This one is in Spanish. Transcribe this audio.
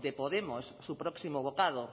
de podemos su próximo bocado